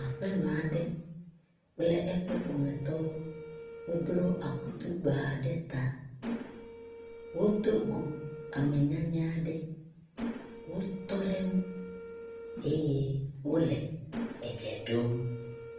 Aƒenɔ aɖe kple eƒe ƒometɔwo wodro akutu gba ɖe ta. Wodo go amenyanyɛ aɖe. Wotɔ ɖe eŋu eye wo le edze ɖom.